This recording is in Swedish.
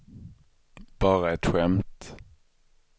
bara ett skämt